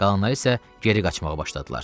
Qalanları isə geri qaçmağa başladılar.